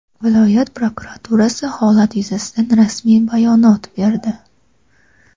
Viloyat prokuraturasi holat yuzasida rasmiy bayonot berdi.